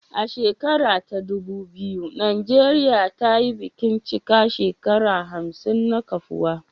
A shekara ta ɗubu biyu, Najeriya ta yi bikin cika shekaru hamsin na kafuwa